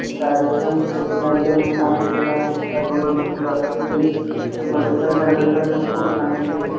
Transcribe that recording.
हे मोडीफाय झाल्यानंतर मग खूप चांगले दिसन.